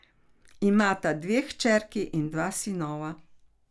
Imata dve hčerki in dva sinova.